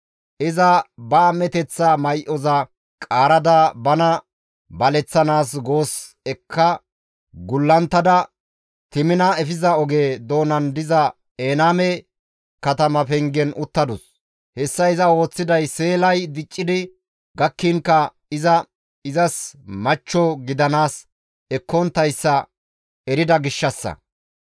Iza ba am7eteththa may7oza qaarada bana baleththanaas goos ekka gullunttada Temina efiza oge doonan diza Enayme katama pengen uttadus. Hessa iza ooththiday Seelay diccidi gakkinkka iza izas machcho gidanaas ekkonttayssa erida gishshassa.